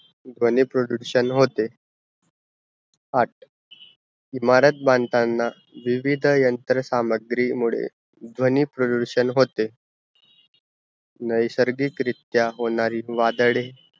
ध्वनी प्रडूकषण होते आठ ईमारत बांधतांना विविध यंत्र सामग्री मुड़े ध्वनी प्रडूकषण होते, नायसार्गिक रीत्या होणारी वादडे